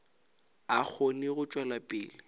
a kgone go tšwela pele